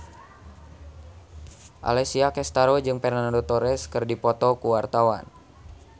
Alessia Cestaro jeung Fernando Torres keur dipoto ku wartawan